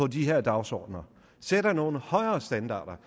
de her dagsordener sætter nogle højere standarder